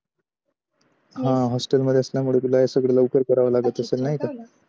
ह hostel मध्येच न मग हे सगड लवकर कारव लागत असेल नाही का